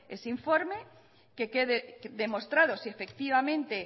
ese informe que quede demostrado si efectivamente